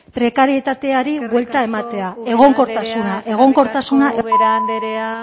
prekarietateari buelta ematea eskerrik asko ubera andrea egonkortasuna eskerrik asko ubera andrea